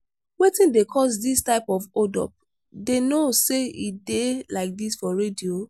wetin dey cause dis type of hold up. dey no say e dey like dis for radio.